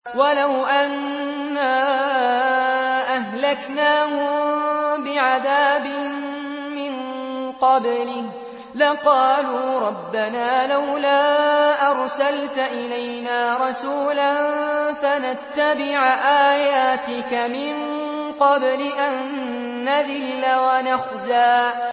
وَلَوْ أَنَّا أَهْلَكْنَاهُم بِعَذَابٍ مِّن قَبْلِهِ لَقَالُوا رَبَّنَا لَوْلَا أَرْسَلْتَ إِلَيْنَا رَسُولًا فَنَتَّبِعَ آيَاتِكَ مِن قَبْلِ أَن نَّذِلَّ وَنَخْزَىٰ